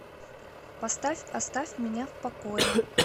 поставь оставь меня в покое